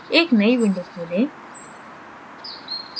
एक नयी window खोलें